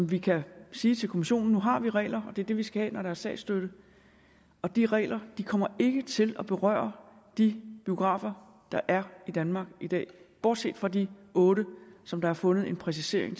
vi kan sige til kommissionen at nu har vi regler og det er det vi skal have når der er statsstøtte og de regler kommer ikke til at berøre de biografer der er i danmark i dag bortset fra de otte som der er fundet en præcisering